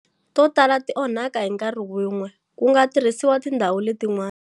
To tala ti onhaka hi nkarhi wun'we, ku nga tirhisiwa tindhawu letin'wana.